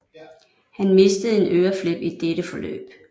Han mistede en øreflip i dette forløb